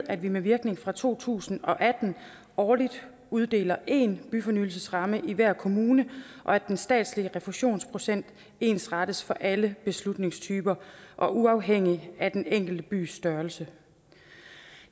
at vi med virkning fra to tusind og atten årligt uddeler én byfornyelsesramme i hver kommune og at den statslige refusionsprocent ensrettes for alle beslutningstyper og uafhængigt af den enkelte bys størrelse